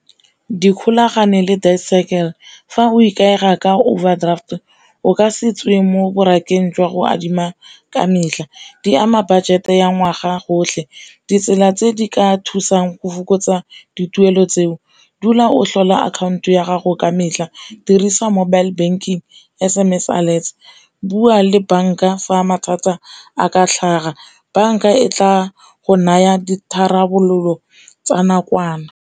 Dikgolagane le fa o ikaega ka overdraft o ka se tswe mo jwa go adima ka metlha, di ama budget e ya ngwaga gotlhe. Ditsela tse di ka thusang go fokotsa dituelo tseo dula o tlhola akhanto ya gago ka metlha, dirisa mobile banking, S_M_S alerts, bua le banka fa mathata a ka tlhaga banka e tla go naya ditharabololo tsa nakwana.